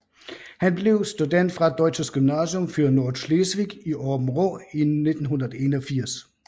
Han blev student fra Deutsches Gymnasium für Nordschleswig i Åbenrå i 1981